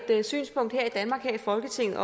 et synspunkt her i folketinget